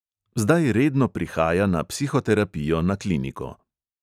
Zdaj redno prihaja na psihoterapijo na kliniko.